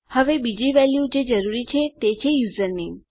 હવે બીજી વેલ્યુ જે જરૂરી છે તે યુઝરનેમ છે